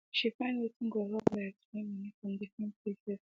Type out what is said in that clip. she find wetin go help her explain moni from different places